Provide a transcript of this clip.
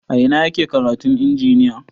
A ina ake karatun injiniya?